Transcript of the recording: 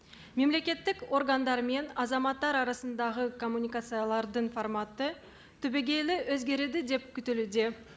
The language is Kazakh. мемлекеттік органдары мен азаматтар арасындағы коммуникациялардың форматы түбегейлі өзгереді деп күтілуде